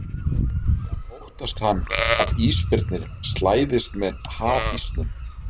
En óttast hann að ísbirnir slæðist með hafísnum?